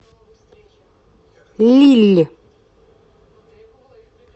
лилль